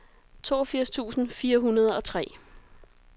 toogfirs tusind fire hundrede og tre